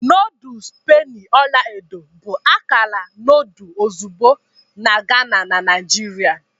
Noodles penny ọla edo bụ akara nudul ozugbo na Ghana na Naijiria.